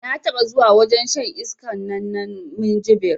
Na taɓa zuwa wajen shan iskan nan na minjibir